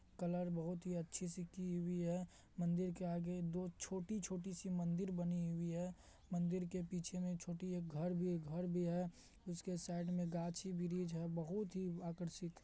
Colour बहुत ही अच्छे से की हुई है मंदिर के आगे दो छोटी-छोटी सी मंदिर बनी हुई है मंदिर के पीछे में छोटी एक घर भी एक घर भी है उसके साइड में गाछी ब्रिज़ है। बहुत ही आकर्षित--